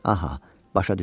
Aha, başa düşdüm.